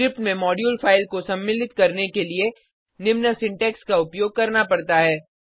script में module file को सम्मिलित करने के लिए निम्न सिंटेक्स का उपयोग करना पड़ता है